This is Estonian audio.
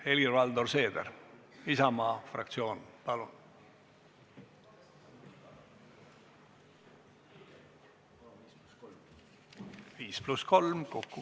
Helir-Valdor Seeder, Isamaa fraktsioon, palun!